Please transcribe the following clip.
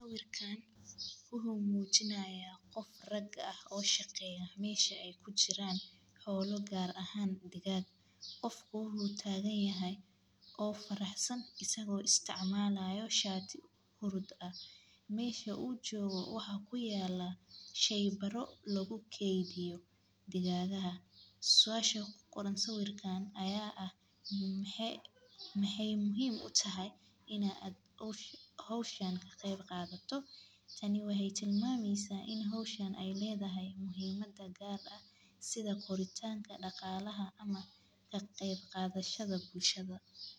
Sawirkan wuxuu mujinaya qof rag ah oo shaqeya mesha ee kujiran xola sitha gar ahan digag isaga oo isticmalaya sharti ber ah siasha aya ah maxee muhiim utahay in aa ka qeb qadato tan waxee muhiim utahay in an ka qeb qato sitha koritanka daqalaha ama koritanka bulshaada.